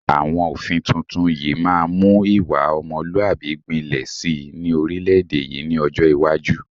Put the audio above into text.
Àwọn òfin tuntun yìí máa mu ìwà ọmọlúwàbí gbinlẹ síí ni orílédé yìí ni ọjọ́ iwájú